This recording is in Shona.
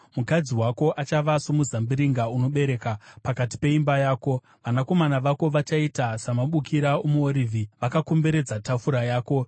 Mukadzi wako achava somuzambiringa unobereka, pakati peimba yako; vanakomana vako vachaita samabukira omuorivhi, vakakomberedza tafura yako.